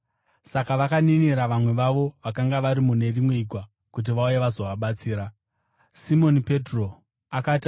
Saka vakaninira vamwe vavo vakanga vari mune rimwe igwa kuti vauye vazovabatsira, ivo vakauya vakazadza magwa ose ari maviri; akazara zvokuti akatanga kunyura.